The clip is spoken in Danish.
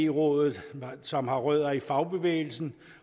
rådet som har rødder i fagbevægelsen